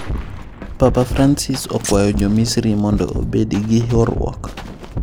Papa Francis okwayo jo Misiri mondo obedi gi horuok